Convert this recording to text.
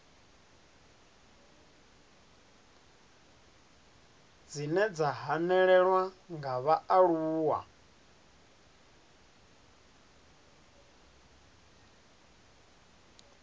dzine dza hanelelwa nga vhaaluwa